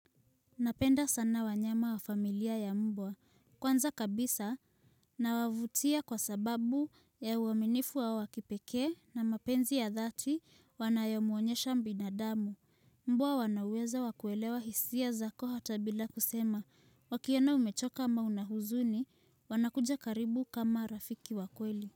Napenda sana wanyama wa familia ya mbwa. Kwanza kabisa, nawavutia kwa sababu ya uaminifu wao wa kipekee na mapenzi ya dhati wanayomuonyesha mbinadamu. Mbwa wana uwezo wa kuelewa hisia zako hata bila kusema, wakiona umechoka ama una huzuni, wanakuja karibu kama rafiki wa kweli.